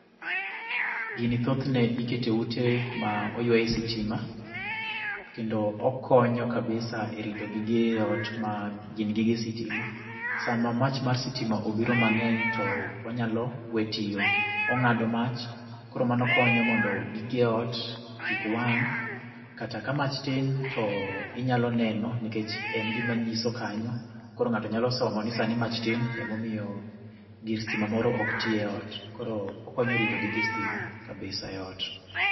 Gini thothne ikete e ute ma oywaye sitima, kendo okonyo kabisa e rito gige ot ma gin gige sitima. Sama mach mar sitima obiro mang'eny to onyalo we tiyo. Ong'ado mach, koro mano konyo mondo gige ot kik wang', kata ka mach tin to, inyalo neno nikech en gima nyiso kanyo. Koro ng'ato nyalo somo ni sani mach tin, emomiyo gir stima moro ok tii e ot. Koro okonyo rito gige stima kabisa e ot